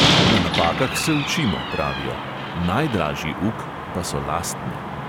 Na napakah se učimo, pravijo, najdražji uk pa so lastne.